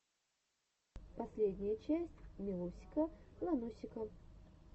последняя часть милусика ланусика